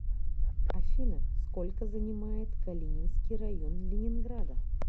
афина сколько занимает калининский район ленинграда